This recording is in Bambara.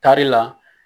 Taari la